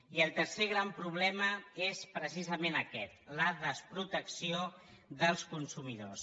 i el tercer gran problema és precisament aquest la desprotecció dels consumidors